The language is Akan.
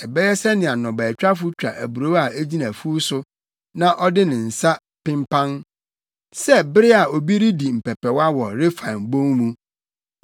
Ɛbɛyɛ sɛnea nnɔbaetwafo twa aburow a egyina afuw so na ɔde ne nsa penpan, sɛ bere a obi redi mpɛpɛwa wɔ Refaim Bon mu.